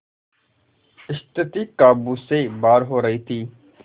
स्थिति काबू से बाहर हो रही थी